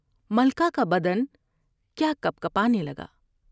ملکہ کا بدن کیا کپکپانے لگا ۔